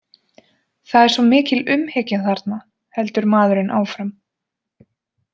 það er svo mikil umhyggja þarna, heldur maðurinn áfram.